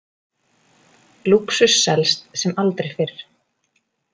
Lúxus selst sem aldrei fyrr